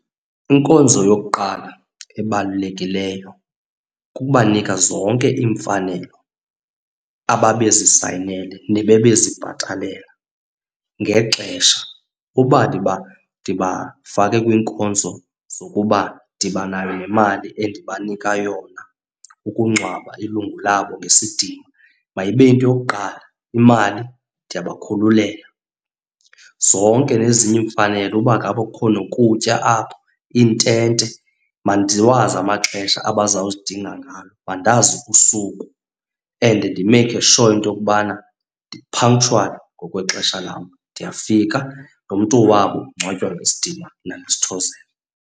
Inkonzo yokuqala ebalulekileyo kukubanika zonke iimfanelo ababezisayinele nababezibhatalela ngexesha. Uba ndibafake kwiinkonzo zokuba ndibanayo nemali endibanika yona ukungcwaba ilungu labo ngesidima, mayibe yinto yokuqala, imali ndiyabakhululela. Zonke nezinye iimfanelo uba ngaba kukhona nokutya apho, iintente, mandiwazi amaxesha abazawuzidinga ngawo, mandazi usuku and ndimeyikhe sure into yokubana ndi-punctual ngokwexesha lam. Ndiyafika nomntu wabo ungcwatywa ngesidima nangesithozelo.